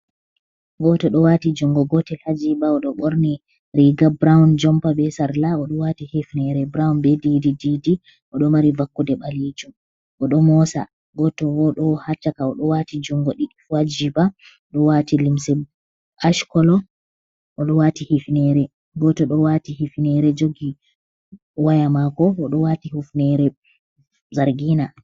Gooto ɗo waati junngo gootel haa jiiba ,o ɗo ɓorni riiga burawun ,jompa be sarla, o ɗo waati hifneere burawun be diidi diidi, o ɗo mari vakkude ɓaleejum, o ɗo moosa. Gooto bo ɗo haa caka, o ɗo waati junngo ɗiɗi haa jiiba, o ɗo waati limse aac kolo, o ɗo waati hifneere .Gooto ɗo waati hifneere jogi waya maako, o ɗo waati hufneere zargina.